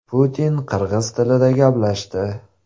Putin qirg‘iz tilida gaplashdi.